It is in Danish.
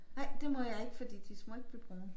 Nej det må jeg ikke fordi de må ikke blive brune